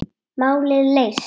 Málið leyst.